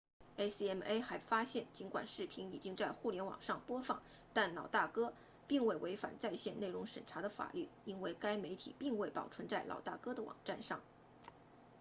acma 还发现尽管视频已经在互联网上播放但老大哥 big brothe 并未违反在线内容审查的法律因为该媒体并未保存在老大哥的网站上